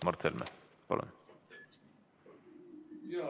Mart Helme, palun!